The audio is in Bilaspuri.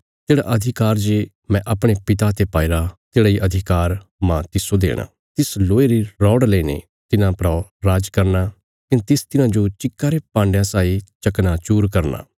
तेढ़ा अधिकार जे मैं अपणे पिता ते पाईरा तेढ़ा इ अधिकार मांह तिस्सो देणा तिस लोहे री रौड़ लईने तिन्हां परा राज करना कने तिस तिन्हांजो चिक्का रे भाण्डया साई चकनाचूर करना